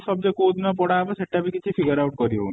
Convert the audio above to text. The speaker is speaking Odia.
subject କୋଉ ଦିନ ପଢା ହବ ସେଟା ବି କିଛି figure out କରି ହଉନି